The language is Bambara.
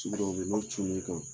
Ci dɔw bɛ yen n'o cun n'i kan